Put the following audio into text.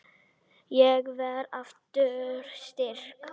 Ég verð aftur styrk.